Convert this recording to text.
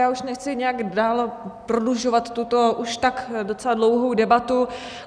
Já už nechci nějak dál prodlužovat tuto už tak docela dlouhou debatu.